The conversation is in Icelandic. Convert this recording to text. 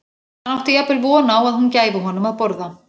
Hann átti jafnvel von á að hún gæfi honum að borða.